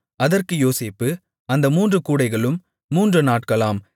அதற்கு யோசேப்பு அந்த மூன்று கூடைகளும் மூன்று நாட்களாம்